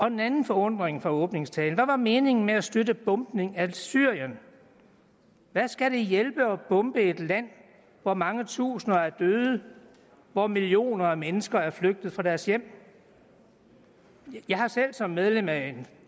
en anden forundring fra åbningstalen er hvad var meningen med at støtte bombningen af syrien hvad skal det hjælpe at bombe et land hvor mange tusinder af døde hvor millioner af mennesker er flygtet fra deres hjem jeg har selv som medlem af en